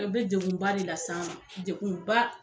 O be degunba de lase an ma degunba